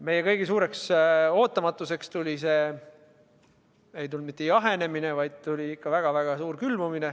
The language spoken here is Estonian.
Meie kõigi suureks ootamatuseks ei tulnud mitte lihtsalt jahenemist, vaid tuli väga-väga suur külmumine.